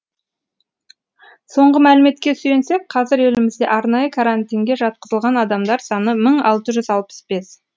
соңғы мәліметке сүйенсек қазір елімізде арнайы карантинге жатқызылған адамдар саны мың алты жүз алпыс бес